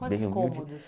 Quantos cômodos?